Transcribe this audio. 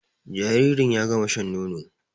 Jaririn ya gama shan nono